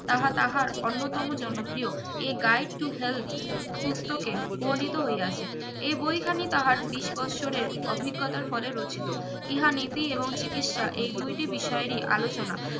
তাহা তাহার অন্যতম জনপ্রিয় a guide to help পুস্তকে বোনিতো হইয়াছে এ বই খানি তাহার বিশ বৎসরের অভিজ্ঞতা ফলে রচিত ইহা নিতি এবং চিকিৎসা এই দুইটি বিষয়ই অলোচনা